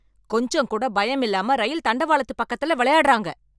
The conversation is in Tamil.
கொஞ்சம்கூட பயமில்லாம ரயில் தண்டவாளத்து பக்கத்துல விளையாடுறாங்க.